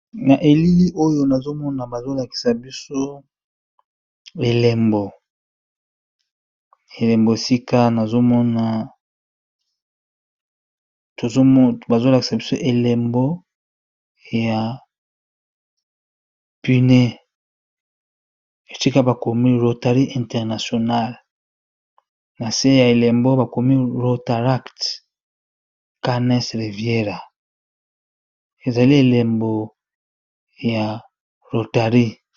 Na elili oyo nazomona eebazolakisa biso ey pune esika bakomi rotarie internationale na se ya elembo bakomi rotaract canes reviera ezali elembo ya rotarie.